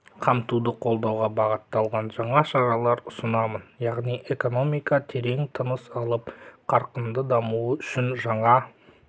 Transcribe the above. қамтуды қолдауға бағытталған жаңа шаралар ұсынамын яғни экономика терең тыныс алып қарқынды дамуы үшін жаңа